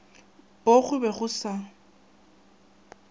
poo go be go sa